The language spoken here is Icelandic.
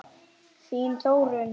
Þín Þórunn.